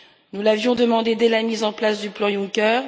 Nous l'avions demandée dès la mise en place du plan Juncker.